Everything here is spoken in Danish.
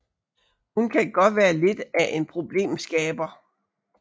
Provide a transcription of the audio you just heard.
Hun kan godt være lidt af en problemskaber